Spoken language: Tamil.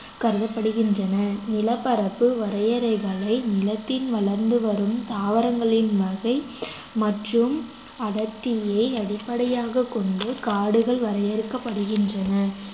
கருதப்படுகின்றன நிலப்பரப்பு வரையறைகளை நிலத்தில் வளர்ந்து வரும் தாவரங்களின் வகை மற்றும் அடர்த்தியை அடிப்படையாகக் கொண்டு காடுகள் வரையறுக்கப்படுகின்றன